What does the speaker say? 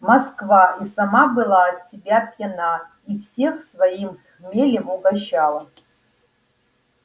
москва и сама была от себя пьяна и всех своим хмелем угощала